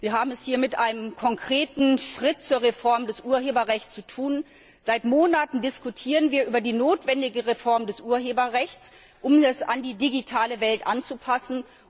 Wir haben es hier mit einem konkreten Schritt zur Reform des Urheberrechts zu tun. Seit Monaten diskutieren wir über die notwendige Reform des Urheberrechts, um es an die digitale Welt anzupassen.